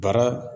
Baara